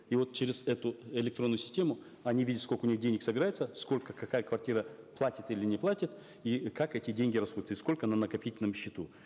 и вот через эту электронную систему они видят сколько у них денег собирается сколько какая квартира платит или не платит и как эти деньги расходуются и сколько на накопительном счету